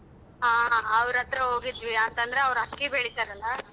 ಹಾ ಅವ್ರ್ ಹತ್ರ ಹೋಗಿದ್ವಿ ಯಾಕ ಅಂದ್ರ ಅವ್ರ್ ಅಕ್ಕಿ ಬೆಳಿತಾರಲ್ಲ.